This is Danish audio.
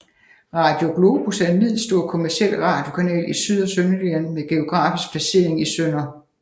Radio Globus er en middelstor kommerciel radiokanal i Syd og Sønderjylland med geografisk placering i Sdr